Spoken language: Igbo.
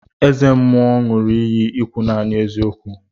Eze mmuo ṅu iyi ikwu nani eziokwu.